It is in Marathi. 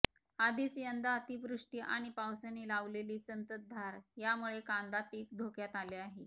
आधीच यंदा अतिवृष्टी आणि पावसाने लावलेली संततधार यामुळे कांदा पीक धोक्यात आले आहे